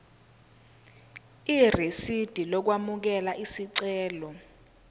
irisidi lokwamukela isicelo